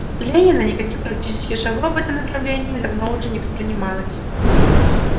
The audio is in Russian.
ленина никаких практических шагов в этом направлении давно уже не предпринималось